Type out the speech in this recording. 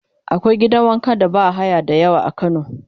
akwai gidan wanka da bahaya da yawa a kano